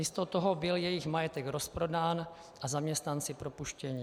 Místo toho byl jejich majetek rozprodán a zaměstnanci propuštěni.